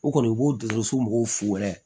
O kɔni i b'o dusu mɔgɔw fu yɛrɛ